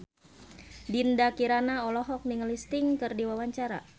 Dinda Kirana olohok ningali Sting keur diwawancara